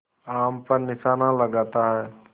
आम पर निशाना लगाता है